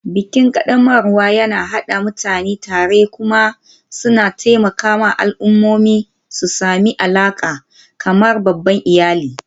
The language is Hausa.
Bikin ƙaddamarwa yana haɗa mutane tare kuma suna taimakawa al'ummomi su sami alaƙa, kamar babban iyali ɗaya.